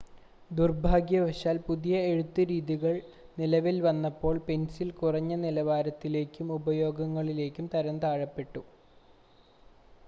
ദുർഭാഗ്യവശാൽ പുതിയ എഴുത്ത് രീതികൾ നിലവിൽ വന്നപ്പോൾ പെൻസിൽ കുറഞ്ഞ നിലവാരത്തിലേക്കും ഉപയോഗങ്ങളിലേക്കും തരംതാഴ്ത്തപ്പെട്ടു